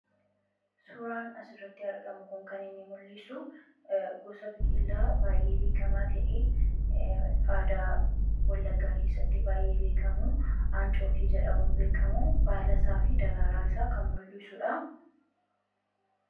Suuraan asirratti argamu kun kan mul'isu gosa biqilaa baay'ee beekamaa ta'e aadaa wallaggaa keessatti baay'ee beekamu ancootee jedhamuun beekamu baalasaa fi daraaraa isaa kan mul'isudha.